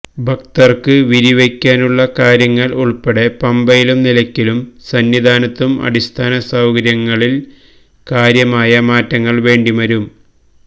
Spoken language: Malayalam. ഭക്തര്ക്ക് വിരിവയ്ക്കാനുള്ള കാര്യങ്ങള് ഉള്പ്പെടെ പമ്പയിലും നിലയ്ക്കലിലും സന്നിധാനത്തും അടിസ്ഥാന സൌകര്യങ്ങളില് കാര്യമായ മാറ്റങ്ങള് വേണ്ടിവരും